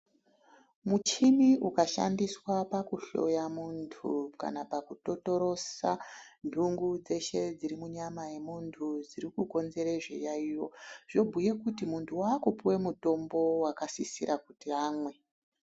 Muchini ukashandiswa pakuhloya muntu kana pakutotorosa ndungu dzeshe dzirimunyama yemuntu dzirikukonzere zviyayiyo, zvinobhuye kuti muntu waakupuwe mitombo yakasisira kuti amwe.